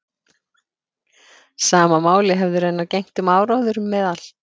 Sama máli hefði raunar gegnt um áróður meðal